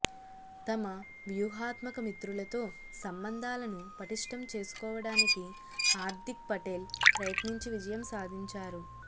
తమ వ్యూహాత్మక మిత్రులతో సంబంధాలను పటిష్టం చేసుకోవడానికి హార్దిక్ పటేల్ ప్రయత్నించి విజయం సాధించారు